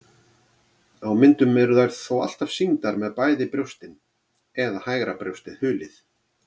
Á myndum eru þær þó alltaf sýndar með bæði brjóstin eða hægra brjóstið hulið.